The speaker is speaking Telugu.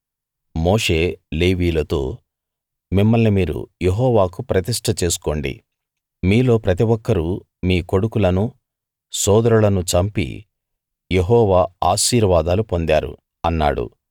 మోషే లేవీయులతో మిమ్మల్ని మీరు యెహోవాకు ప్రతిష్ట చేసుకోండి మీలో ప్రతి ఒక్కరూ మీ కొడుకులనూ సోదరులనూ చంపి యెహోవా ఆశీర్వాదాలు పొందారు అన్నాడు